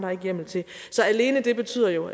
hjemmel til så alene det betyder jo